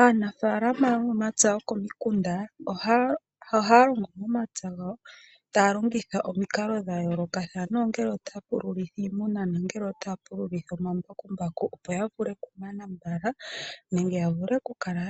Aanafalama yomomapya gokomikunda ohaya longo momapya gawa taya longitha omikalo dhayoolokathana ongele otaya pululitha iimuna nenge omambakumbaku opo yavule okumana mbala nenge yavule okukala